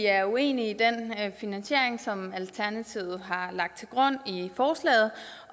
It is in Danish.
er uenige i den finansiering som alternativet har lagt til grund i forslaget